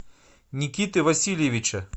никиты васильевича